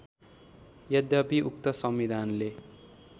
यद्यपि उक्त संविधानले